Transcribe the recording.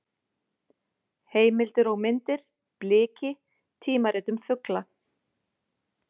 Heimildir og myndir: Bliki: tímarit um fugla.